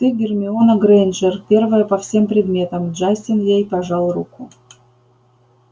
ты гермиона грэйнджер первая по всем предметам джастин ей пожал руку